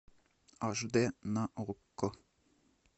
аш д на окко